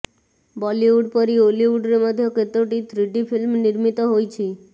ବଲିଉଡ ପରି ଓଲିଉଡରେ ମଧ୍ୟ କେତୋଟି ଥ୍ରିଡି ଫିଲ୍ମ ନିର୍ମିତ ହୋଇଛି